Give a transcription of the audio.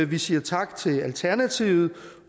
vi siger tak til alternativet